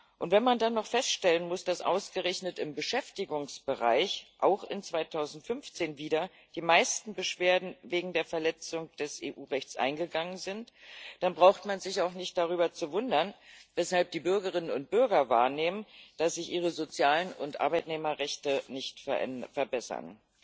Und wenn man dann noch feststellen muss, dass ausgerechnet im Beschäftigungsbereich auch 2015 wieder die meisten Beschwerden wegen der Verletzung des EU Rechts eingegangen sind, dann braucht man sich auch nicht darüber zu wundern, weshalb die Bürgerinnen und Bürger wahrnehmen, dass sich ihre sozialen und Arbeitnehmerrechte nicht verbessern.